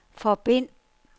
forbind